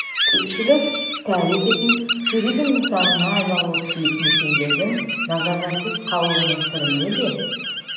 көпшілік тәу ететін туризм нысанына айналуы тиіс мекендердің назардан тыс қалуының сыры неде